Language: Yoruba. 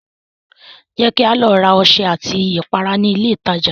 Ṣé kí a lọ ra ọṣẹ àti ìpara ní ilé ìtajà?